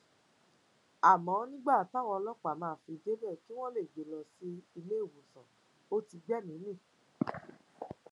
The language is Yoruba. àmọ nígbà táwọn ọlọpàá máa fi débẹ kí wọn lè gbé e lọ sílé ìwòsàn ò ti gbẹmìí mì